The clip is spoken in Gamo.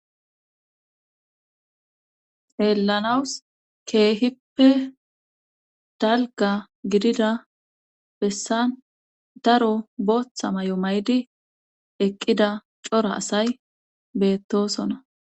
Hellanawus keehippe dalga gidida bessan daro booththa may7o may7di eqqida cora asay beettosona.